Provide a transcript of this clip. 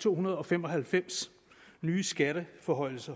to hundrede og fem og halvfems nye skatteforhøjelser